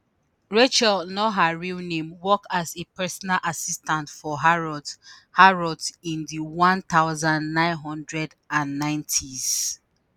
rachel not her real name work as a personal assistant for harrods harrods in di 1990s.